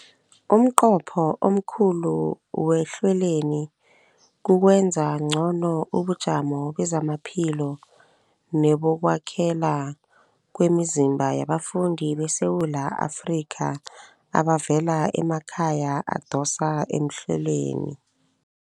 Umnqopho omkhulu wehlelweli kukwenza ngcono ubujamo bamaphilo nebokwakhela kwemizimba yabafundi beSewula Afrika abavela emakhaya adosa emhlweni.